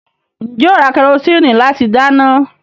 Ǹjẹ́ ó ra kẹrosíìnì láti dáná?